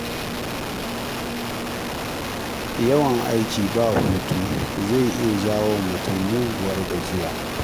Yawan aiki ba hutu zai iya jawowa mutum muguwar gajiya.